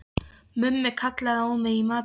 Mummi kallaði á mig í matinn.